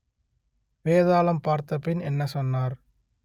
வேதாளம் பார்த்த பின் என்ன சொன்னார்